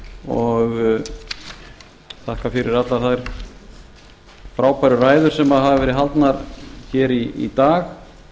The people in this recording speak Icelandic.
og þakka fyrir allar þær frábæru ræður sem hafa verið haldnar hér í dag